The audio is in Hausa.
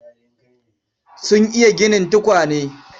Sun iya ginin tukwane.